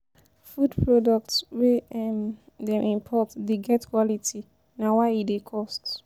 Food products wey um dem import dey get quality na why e dey cost.